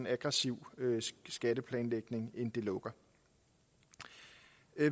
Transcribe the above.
aggressiv skatteplanlægning end det lukker